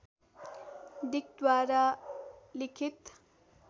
डिकद्वारा लिखित